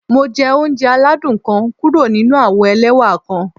Mo jẹ ounjẹ aladun kan kuro ninu awo ẹlẹwa kan.